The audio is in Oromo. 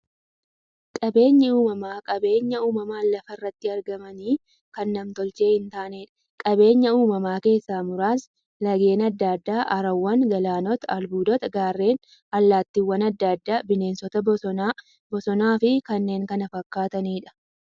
Qabeenyi uumamaa qabeenya uumamaan lafa irratti argamanii, kan nam-tolchee hintaaneedha. Qabeenya uumamaa keessaa muraasni; laggeen adda addaa, haroowwan, galaanota, albuudota, gaarreen, allattiiwwan adda addaa, bineensota bosonaa, bosonafi kanneen kana fakkataniidha.